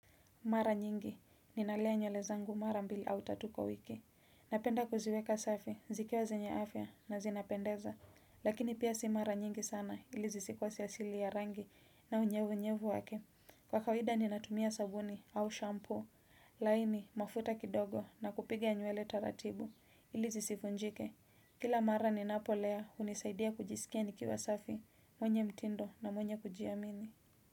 Mara nyingi, ninalea nywele zangu mara mbili au tatu kwa wiki. Napenda kuziweka safi, zikiwa zenye afya na zinapendeza. Lakini pia si mara nyingi sana ili zisikose asili ya rangi na unyevunyevu wake. Kwa kawida ninatumia sabuni au shampoo. Laini mafuta kidogo na kupiga nywele taratibu ili zisivunjike. Kila mara ninapolea unisaidia kujisikia nikiwa safi, mwenye mtindo na mwenye kujiamini.